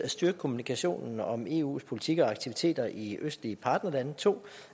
styrke kommunikationen om eus politik og aktiviteter i de østlige partnerlande 2